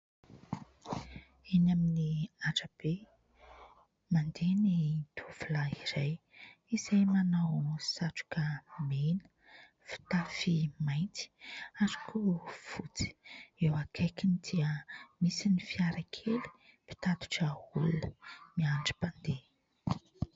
Eny amin'ny arabe, mandeha ny tovolahy iray izay manao satroka mena, fitafy mainty ary ko fotsy, eo akaikiny dia misy ny fiara kely mpitatitra olona miandry mpandeha.